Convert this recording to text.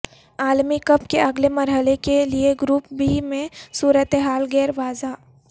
عالمی کپ کے اگلے مرحلے کے لیے گروپ بی میں صورت حال غیر واضح